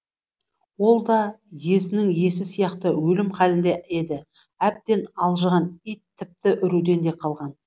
ол да езінің иесі сияқты өлім халінде еді әбден алжыған ит тіпті үруден де қалған